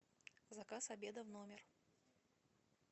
заказ обеда в номер